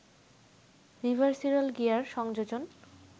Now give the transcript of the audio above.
'রিভারসিরল gear’ সংযোজন